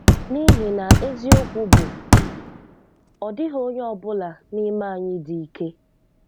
N'ihi na eziokwu bụ, ọ dịghị onye ọ bụla n'ime anyị dị ike.